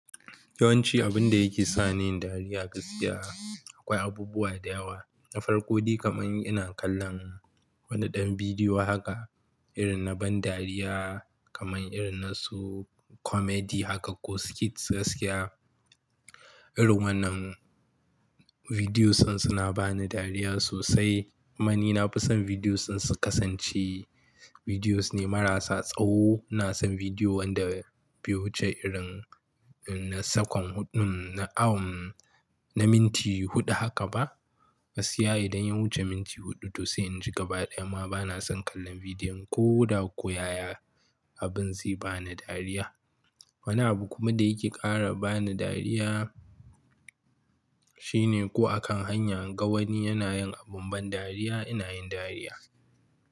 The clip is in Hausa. Yawanci abun da yake sa ni dariya gaskiya akwai abubuwa da yawa. Na farko dai kamar ina kallon waɗannan bidiyoyin haka irin na ban dariya kamar irin na su comedy haka ko skit gaskiya. Irin wannan bidiyoyin suna bani dariya sosai. Kum ni na fi son bidiyoyin su kasance bidiyoyi ne marasa tsawo. Kuma ina son bidiyo wanda bai wuce irin na sakwan huɗun na awon na minti huɗu haka ba. Gaskiya idan ya wuce minti huɗu to sai in ji gaba ɗaya ma bana son kallon bidiyon ko da ko yaya abin zai bani dariya. Wani abu kuma da yake ƙara bani dariya shine ko a kan hanya in ga wani yana yin abin ban dariya ina yin dariya.